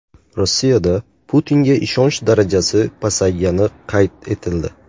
Rossiyada Putinga ishonch darajasi pasaygani qayd etildi.